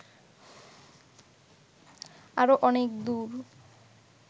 আরো অনেক দূর